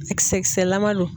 Zi kisɛ kisɛlama don.